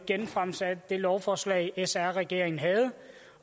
genfremsat det lovforslag sr regeringen havde